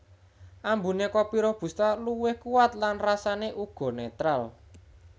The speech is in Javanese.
Ambuné kopi robusta luwih kuwat lan rasané uga netral